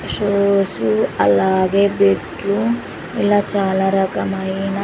shoes అలాగే లు ఇలా చాలా రకమైన--